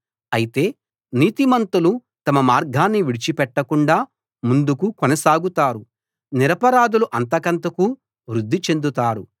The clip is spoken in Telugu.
అయితే నీతిమంతులు తమ మార్గాన్ని విడిచిపెట్టకుండా ముందుకు కొనసాగుతారు నిరపరాధులు అంతకంతకూ వృద్ది చెందుతారు